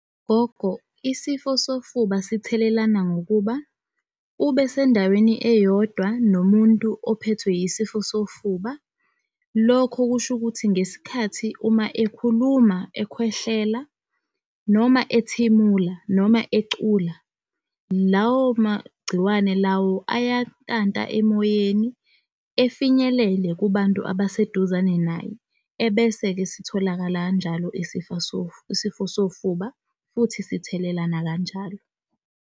Gogo, isifo sofuba sithelelana, ngokuba ubesendaweni eyodwa nomuntu ophethwe yisifo sofuba. Lokho kusho ukuthi ngesikhathi uma ekhuluma, ekhwehlela, noma ethimula, noma ecula, lawo magciwane lawo, ayantanta emoyeni efinyelele kubantu abaseduzane naye. Ebese-ke sitholakala kanjalo isifo sofuba, futhi sithelelana nakanjalo.